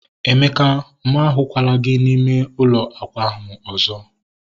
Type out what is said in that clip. Emeka! Mụ ahukwala gị n'ime ụlọ akwa ahu ọzọ